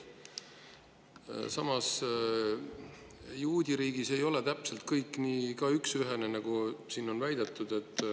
Samas, juudiriigis ei ole kõik täpselt nii üksühene, nagu siin on väidetud.